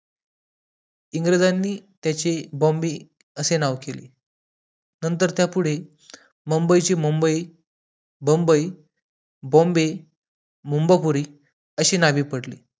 इंग्रजांनी त्याचे बॉम्बे असे नाव केले नंतर त्या पुढे मुंबईची मुंबई, बम्बई, बॉम्बे, मुम्बाखोरी अशी नावे पडली.